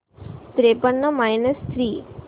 त्रेपन्न minus three